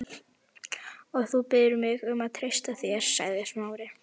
Og þú biður mig um að treysta þér- sagði Smári.